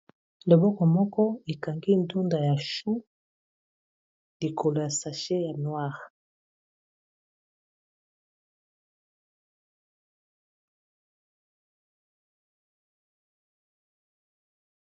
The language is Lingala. loboko moko ekangi ntunda ya chu likolo ya sashe ya noire